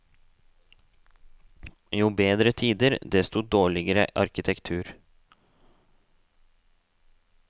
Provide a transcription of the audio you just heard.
Jo bedre tider, desto dårligere arkitektur.